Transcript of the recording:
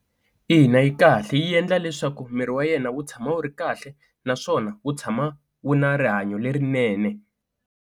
Ina yi kahle yi endla leswaku miri wa yena wu tshama wu ri kahle naswona wu tshama wu na rihanyo lerinene.